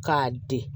K'a di